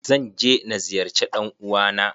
Zan je na ziyarce ɗan uwa na.